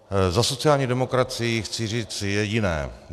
Za sociální demokracii chci říct jediné.